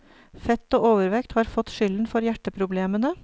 Fett og overvekt har fått skylden for hjerteproblemene.